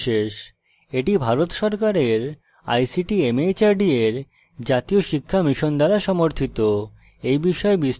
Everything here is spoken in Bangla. এটি ভারত সরকারের ict mhrd এর জাতীয় সাক্ষরতা mission দ্বারা সমর্থিত